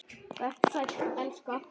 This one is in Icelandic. Vertu sæll, elska.